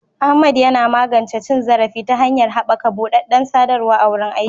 Ahmad yana magance cin zarafi ta hanyar haɓaka buɗaɗɗen sadarwa a wurin aiki.